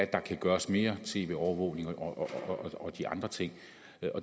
der kan gøres mere end tv overvågning og de andre ting